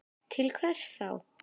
Til hvers þá?